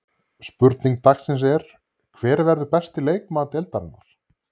Spurning dagsins er: Hver verður besti leikmaður deildarinnar?